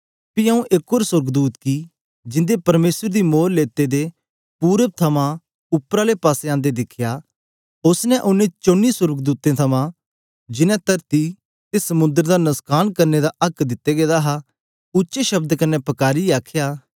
पी आऊँ एक ओर सोर्गदूत गी जिंदे परमेसर दी मोर लेते दे पूरब थमां उपर आले पासे आंदे दिखया उस्स ने ओनें चारें सुर्गदूतें थमां जिनैं तरती ते समुंद्र दा नुस्कान करने दा आक्क दित्ता गेदा हा उच्चे शब्द कन्ने पकारीयै आखया